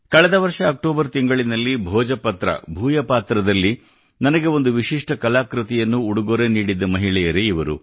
ಕಳೆದ ವರ್ಷ ಅಕ್ಟೋಬರ್ ತಿಂಗಳಿನಲ್ಲಿ ಭೋಜಪತ್ರದಲ್ಲಿ ಭೂಯಪಾತ್ರ ನನಗೆ ಒಂದು ವಿಶಿಷ್ಟ ಕಲಾಕೃತಿಯನ್ನು ಉಡುಗೊರೆ ನೀಡಿದ್ದ ಮಹಿಳೆಯರೇ ಇವರು